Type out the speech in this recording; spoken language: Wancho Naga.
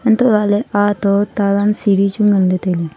antohlahley aa to talaan siri chu nganle tailey.